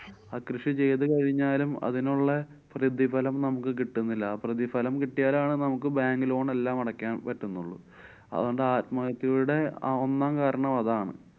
ആ കൃഷി ചെയ്തു കഴിഞ്ഞാലും അതിനുള്ള പ്രതിഫലം നമുക്ക് കിട്ടുന്നില്ല. ആ പ്രതിഫലം കിട്ട്യാലാണ് നമുക്ക് bank loan എല്ലാം അടക്കാന്‍ പറ്റുന്നത്. അതോണ്ട് ആത്മഹത്യയുടെ അഹ് ഒന്നാം കാരണം അതാണ്‌.